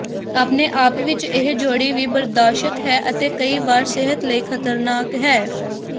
ਆਪਣੇ ਆਪ ਵਿੱਚ ਇਹ ਜੋੜੀ ਵੀ ਬਰਦਾਸ਼ਤ ਹੈ ਅਤੇ ਕਈ ਵਾਰ ਸਿਹਤ ਲਈ ਖ਼ਤਰਨਾਕ ਹੈ